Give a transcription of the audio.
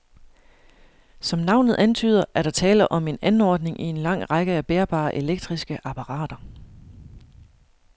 Som navnet antyder, er der tale om en anordning i en lang række af bærbare elektriske apparater.